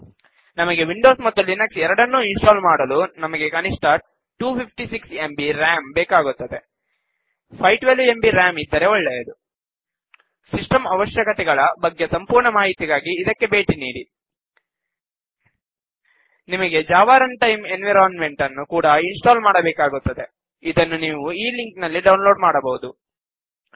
ನಮಗೆ ವಿಂಡೋಸ್ ಮತ್ತು ಲಿನಕ್ಸ್ ಎರಡನ್ನೂ ಇನ್ ಸ್ಟಾಲ್ ಮಾಡಲು ನಮಗೆ ಕನಿಷ್ಠ 256 ಎಂಬಿ ರಾಮ್ ಬೇಕಾಗುತ್ತದೆ512 ಎಂಬಿ ರಾಮ್ ಇದ್ದರೆ ಒಳ್ಳೆಯದು ಸಿಸ್ಟಂ ಅವಶ್ಯಕತೆಗಳ ಬಗ್ಗೆ ಸಂಪೂರ್ಣ ಮಾಹಿತಿಗಾಗಿ ಇದಕ್ಕೆ ಬೇಟಿ ನೀಡಿ httpwwwlibreofficeorgget helpsystem requirements ನಿಮಗೆ Java runtime environment ನ್ನು ಕೂಡ ಇನ್ ಸ್ಟಾಲ್ ಮಾಡಬೇಕಾಗುತ್ತದೆಅದನ್ನು ನೀವು ಈ ಲಿಂಕ್ ನಲ್ಲಿ ಡೌನ್ ಲೋಡ್ ಮಾಡಬಹುದು httpwwwjavacomendownloadindexjsp